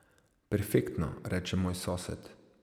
Perfektno, reče moj sosed.